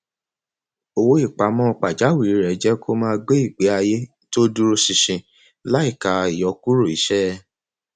owó ìpamọ pajawírí rẹ jẹ kó máa gbé ìgbésí ayé tó dúró ṣinṣin láìka ìyọkuro iṣẹ